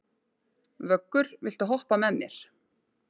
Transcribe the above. Vöggur, viltu hoppa með mér?